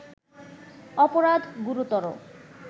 অপরাধ গুরুতর